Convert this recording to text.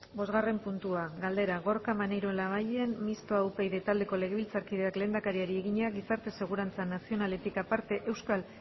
bosgarren puntua galdera gorka maneiro labayen mistoa upyd taldeko legebiltzarkideak lehendakariari egina gizarte segurantza nazionaletik aparte euskal